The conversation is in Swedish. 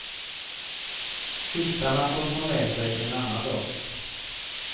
Filtarna får hon ta med sig en annan dag.